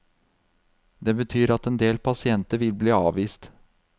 Det betyr at en del pasienter vil bli avvist.